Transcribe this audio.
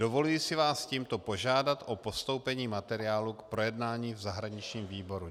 Dovoluji si vás tímto požádat o postoupení materiálu k projednání v zahraničním výboru.